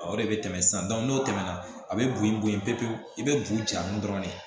O de bɛ tɛmɛ sisan n'o tɛmɛna a bɛ bonyan bo yen pewu pewu i bɛ bugun ja nun dɔrɔn de